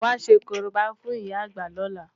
Wàá ṣe korobá fún ìyá àgbà lóla!